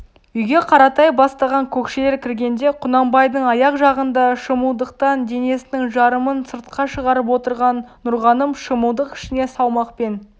үйге қаратай бастаған көкшелер кіргенде құнанбайдың аяқ жағында шымылдықтан денесінің жарымын сыртқа шығарып отырған нұрғаным шымылдық ішіне салмақпен